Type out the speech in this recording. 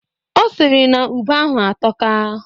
Ọ sịrị na ube ahụ atọka.